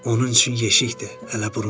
Onun üçün yeşikdir,